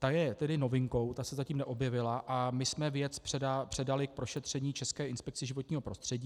Ta je tedy novinkou, ta se zatím neobjevila a my jsme věc předali k prošetření České inspekci životního prostředí.